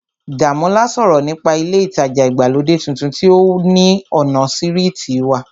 Dàmọ́lá sọ̀rọ̀ nípa ilé ìtajà ìgbàlódé tuntun tí ó ní ọ̀nà sírìtì wa